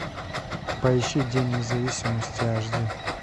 поищи день независимости аш ди